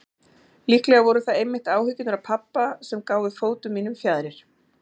Líklega voru það einmitt áhyggjurnar af pabba sem gáfu fótum mínum fjaðrir.